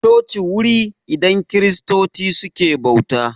Coci wuri idan kiristoci suke bauta